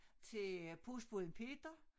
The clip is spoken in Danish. Til øh postbåden peter